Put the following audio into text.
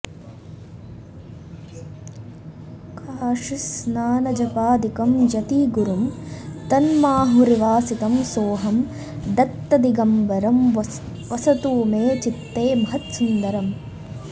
काशीस्नानजपादिकं यतिगुरुं तन्माहुरीवासितं सोऽहं दत्तदिगम्बरं वसतु मे चित्ते महत्सुन्दरम्